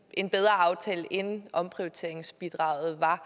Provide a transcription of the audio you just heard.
en bedre aftale end omprioriteringsbidraget var